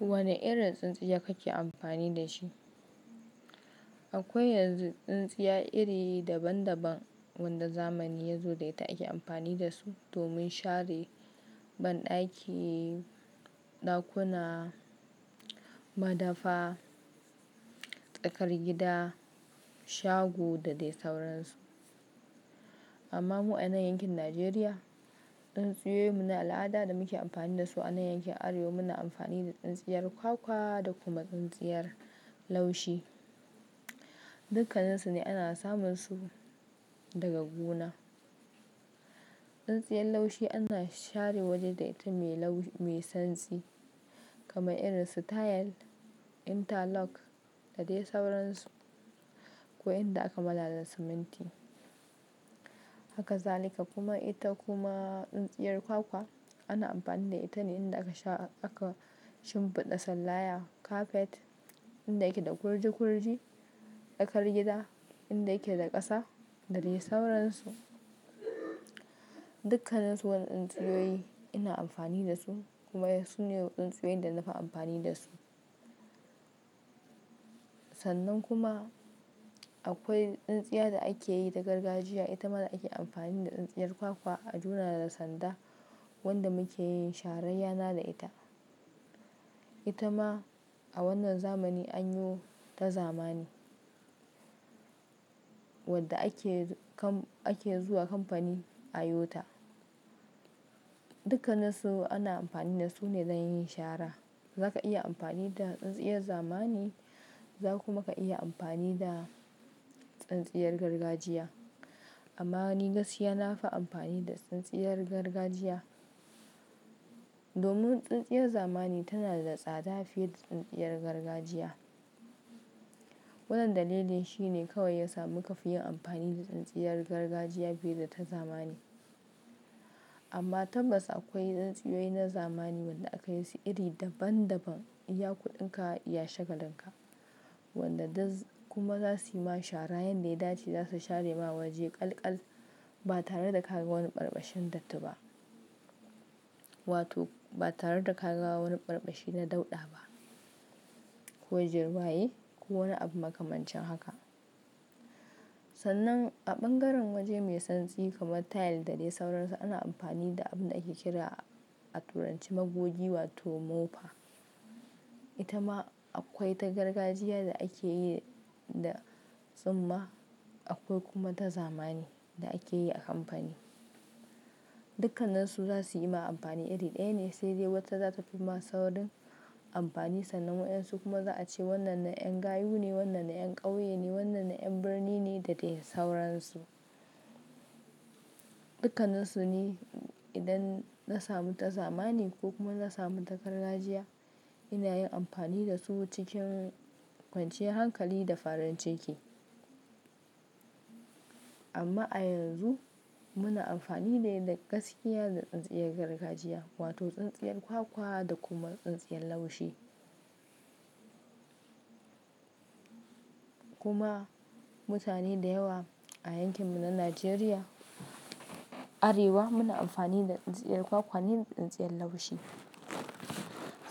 Wane irin tsintsiya kake amfani da shi? Akwai yanzu tsintsiya iri daban daban wanda zamani ya zo da ita ake amfani da su domin share bandaki, dakuna, madafa, tsakar gida, shago da dai sauransu. Amma mu a nan yankin Najeriya, tsintsiyoyin mu na al'ada da muke amfani da su a nan yankin Arewa muna amfani da tsintsiyar kwakwa da kuma tsintsiyar laushi. Dukkanninsu ne ana samun su daga gona. Tsintsiyar laushi ana share waje da ita mai lau-- mai santsi kamar irin su tile, interlock da dai sauransu, ko inda aka malala siminti. Haka zalika kuma ita kuma tsintsiyar kwakwa ana amfani da ita ne inda aka sha-- aka shimfiɗa sallaya kafet inda yake da kurji kurji, tsakar gida inda yake da ƙasa da dai sauransu. Dukkaninsu wannan tsintsiyoyi ina amfani da su kuma su ne tsintsiyoyin da na fi amfani da su. Sannan kuma akwai tsintsiya da ake yi da gargajiya, ita ma ake amfani da tsintsiyar kwakwa a jona da sanda wanda muke yin sharar yana da ita. Ita ma a wannan zamani an yi ta zamani wadda ake kan-- ake zuwa kamfani a yi ta. Dukkanin su ana amfani da su ne don yin shara. Zaka iya amfani da tsintsiyar zamani za ku ma ka iya amfani da tsintsiyar gargajiya. Amma ni gaskiya na fi amfani da tsintsiyar gargajiya domin tsintsiyar zamani tana da tsada fiye da tsintsiyar gargajiya. Wannan dalilin shi ne kawai ya sa muka fi yin amfani da tsintsiyar gargajiya fiye da ta zamani. Amma tabbas akwai tsintsiyoyi na zamani waɗanda aka yi su iri daban daban. Iya kuɗinka, iya shagalin ka. Wanda duk kuma za su yi ma shara yanda ya dace za su share ma waje ƙalƙal ba tare da ka ga wani ɓarɓashin datti ba. Wato ba tare da kaga wani ɓarɓashi na dauɗa ba ko jirwaye ko wani abu makamancin haka. Sannan a ɓangaren waje mai santsi kamar tile da dai sauransu ana amfani da abin da ake kira a turanci magogi wato mofa. Ita ma akwai ta gargajiya da ake yi da tsumma akwai kuma ta zamani da ake yi a kamfani. Dukkanninsu za su yi ma amfani iri ɗaya ne sai dai wata za ta fi ma saurin amfani sannan waɗansu kuma za a ce wannan na 'yan gayu ne, wannan na 'yan ƙauye ne, wannan na 'yan birni ne da dai sauransu. Dukkanninsu ne idan na samu ta zamani ko kuma na samu ta gargajiya ina yin amfani da su cikin kwanciyar hankali da farin ciki. Amma a yanzu muna amfani ne da gaskiya da tsintsiyar gargajiya wato tsintsiyar kwakwa da kuma tsintsiyar laushi. Kuma mutane da yawa a yankin mu na Najeriya, Arewa muna amfani da tsintsiyar kwakwa ne da tsintsiyar laushi.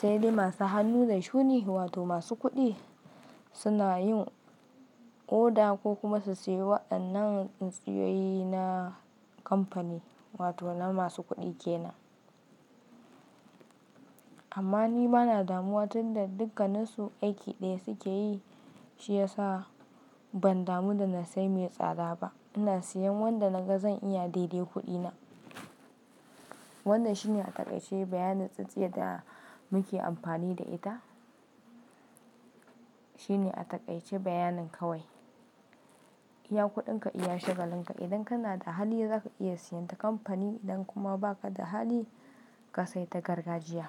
Sai dai masu hannu da shuni wato masu kuɗi suna yin oda ko kuma su siyo waɗannan tsintsiyoyi na kamfani wato na masu kuɗi ke nan. Amma ni bana damuwa tun da dukkanan su aiki ɗaya suke yi shiyasa ban damu da na sayi mai tsada ba. Ina siyan wanda na ga zan iya daidai kuɗina. Wannan shi ne a taƙaice bayanin tsintsiya da muke amfani da ita. Shi ne a taƙaice bayanin kawai. Iya kuɗinka, iya shagalin ka. Idan kana da hali za ka iya siyan ta kamfani idan kuma ba ka da hali ka sai ta gargajiya.